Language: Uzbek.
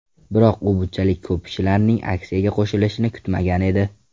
Biroq u bunchalik ko‘p kishilarning aksiyaga qo‘shilishini kutmagan edi.